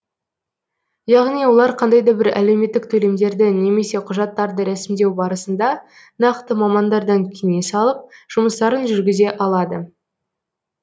яғни олар қандай да бір әлеуметтік төлемдерді немесе құжаттарды рәсімдеу барысында нақты мамандардан кеңес алып жұмыстарын жүргізе алады